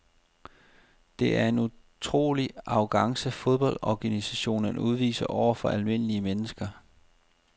Det er en utrolig arrogance fodboldorganisationerne udviser over for almindelige mennesker.